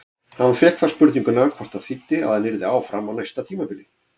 Hann fékk þá spurninguna hvort það þýddi að hann yrði áfram á næsta tímabili?